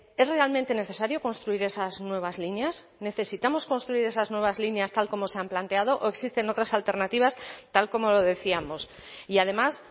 es realmente necesario construir esas nuevas líneas necesitamos construir esas nuevas líneas tal como se han planteado o existen otras alternativas tal como lo decíamos y además